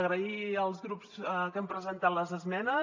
donar les gràcies als grups que han presentat les esmenes